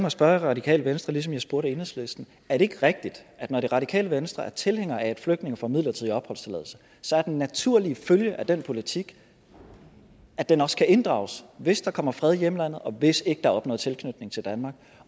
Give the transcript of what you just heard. at spørge det radikale venstre ligesom jeg spurgte enhedslisten er det ikke rigtigt at når det radikale venstre er tilhængere af at flygtninge får en midlertidig opholdstilladelse så er den naturlige følge af den politik at den også kan inddrages hvis der kommer fred i hjemlandet og hvis der ikke er opnået tilknytning til danmark